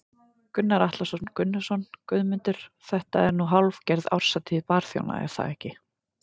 Gunnar Atli Gunnarsson: Guðmundur þetta er nú hálfgerð árshátíð barþjóna ekki satt?